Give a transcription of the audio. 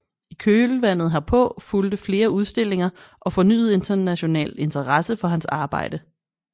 I kølvandet herpå fulgte flere udstillinger og fornyet international interesse for hans arbejde